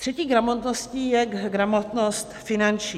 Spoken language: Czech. Třetí gramotností je gramotnost finanční.